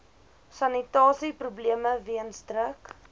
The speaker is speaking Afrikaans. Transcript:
sanitasieprobleme weens druk